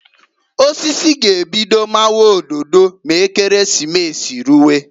Osisi g'ebido mawa ododo m'Ekeresimesi ruwe.